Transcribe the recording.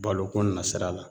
Baloko nasira la